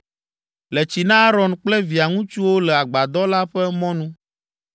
Le tsi na Aron kple via ŋutsuwo le agbadɔ la ƒe mɔnu.